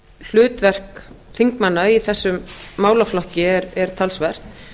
hlutverk þingmanna í þessum málaflokki er talsvert